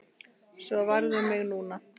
Svo varð um mig nú.